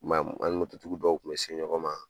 Mɛ an ni mototigi dɔw kun bɛ se ɲɔgɔn ma.